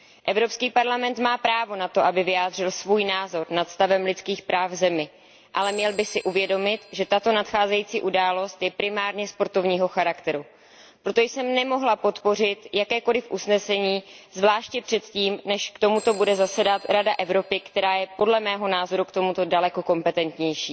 Evropský parlament má právo na to, aby vyjádřil svůj názor nad stavem lidských práv v zemi, ale měl by si uvědomit, že tato nadcházející událost je primárně sportovního charakteru. Proto jsem nemohla podpořit jakékoli usnesení, zvláště předtím, než k tomuto bude zasedat Rada Evropy, která je podle mého názoru k tomuto daleko kompetentnější.